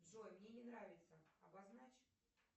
джой мне не нравится обозначь